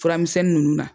Furamisɛnni nunnu na